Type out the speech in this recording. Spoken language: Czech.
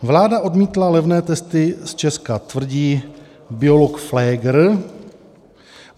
Vláda odmítla levné testy z Česka, tvrdí biolog Flegr.